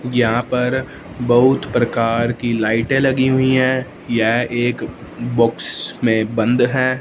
यहां पर बहुत प्रकार की लाइटे लगी हुई हैं यह एक बॉक्स में बंद है।